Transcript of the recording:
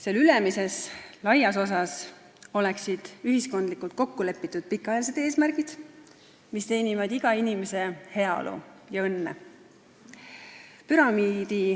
Seal ülemises, laias osas oleksid ühiskondlikult kokkulepitud pikaajalised eesmärgid, mis teenivad iga inimese heaolu ja õnne.